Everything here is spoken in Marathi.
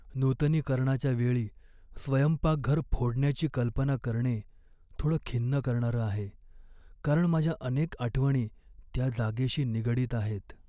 नूतनीकरणाच्या वेळी स्वयंपाकघर फोडण्याची कल्पना करणे थोडं खिन्न करणारं आहे, कारण माझ्या अनेक आठवणी त्या जागेशी निगडीत आहेत.